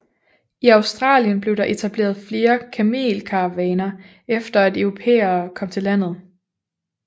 I Australien blev der etableret flere kamelkaravaner efter at europæere kom til landet